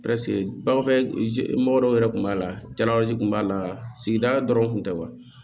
bagan fɛ mɔgɔ dɔw yɛrɛ tun b'a la jalawala kun b'a la sigida dɔrɔn tun tɛ wa